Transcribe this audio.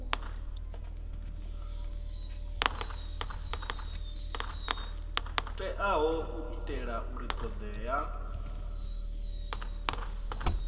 teaho u itela uri thodea